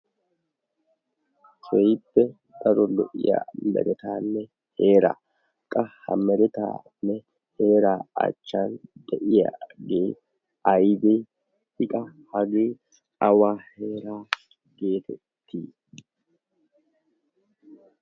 Keehippe daro lo"iya meretaanne heeraa qa ha meretaanne heeraa achchan de'iyagee aybee?I qa hagee awa heeraa geetettii?